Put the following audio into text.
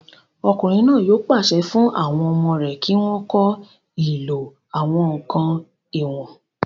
Ọkùnrin náà yóò pàṣẹ fún àwọn ọmọ rẹ̀ kí wọ́n kọ́ ìlò àwọn ǹkan ìwọ̀n